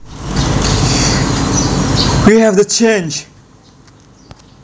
We have the chance